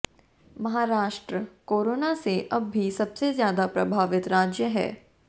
Maharashtra corona से अब भी सबसे ज्यादा प्रभावित राज्य है